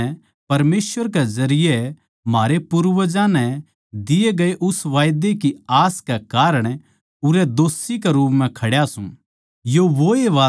अर आज मै परमेसवर के जरिये म्हारे पूर्वजां नै दिए गये उस वादै की आस के कारण उरै दोषी के रूप म्ह खड्या सूं